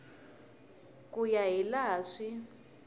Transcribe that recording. ku ya hi laha swi